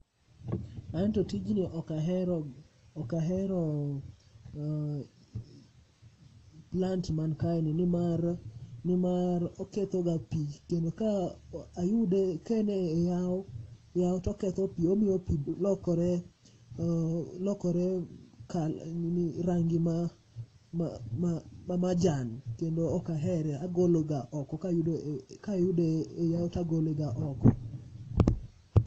Anto tijni okahero, okahero plant man kae ni nimar, nimar okethoga pi. Kendo ka ayude ka en a yawo, yawo to oketho pi, omiyo pi lokore, lokore nini, rangi ma majan. Kendo okahere, agologa oko, kayudo, kayudo e yawo tagologa oko.